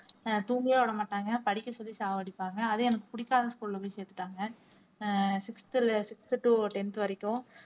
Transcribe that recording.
ஆஹ் தூங்கவே விடமாட்டாங்க படிக்கச் சொல்லி சாவடிப்பாங்க அதுவும் எனக்கு பிடிக்காத school ல போய் சேர்த்துட்டாங்க ஆஹ் sixth ல sixth to tenth வரைக்கும்